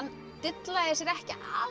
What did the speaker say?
dillaði sér ekki